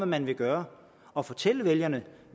man vil gøre og fortælle vælgerne